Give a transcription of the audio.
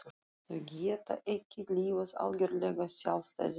Þau geta ekki lifað algjörlega sjálfstæðu lífi.